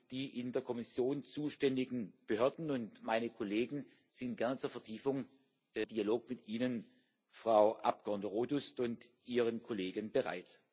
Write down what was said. Die in der Kommission zuständigen Behörden und meine Kollegen sind gerne zur Vertiefung im Dialog mit Ihnen, Frau Abgeordnete Rodust, und Ihren Kollegen bereit.